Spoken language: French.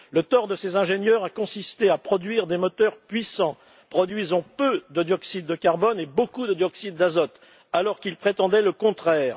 Le tort de ses ingénieurs a consisté à produire des moteurs puissants produisant peu de dioxyde de carbone et beaucoup de dioxyde d'azote, alors qu'ils prétendaient le contraire.